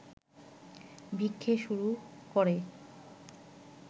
ভিক্ষে শুরু করে